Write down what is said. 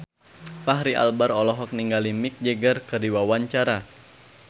Fachri Albar olohok ningali Mick Jagger keur diwawancara